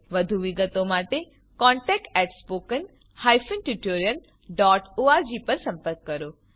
વધુ વિગતો માટે contactspoken tutorialorg પર સંપર્ક કરો